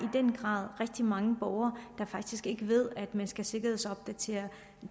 den grad er rigtig mange borgere der faktisk ikke ved at man skal sikkerhedsopdatere